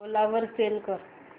ओला वर सेल कर